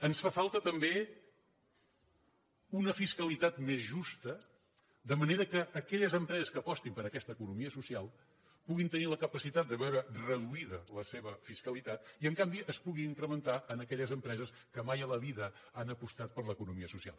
ens fa falta també una fiscalitat més justa de manera que aquelles empreses que apostin per aquesta economia social puguin tenir la capacitat de veure reduïda la seva fiscalitat i en canvi es pugui incrementar en aquelles empreses que mai a la vida han apostat per l’economia social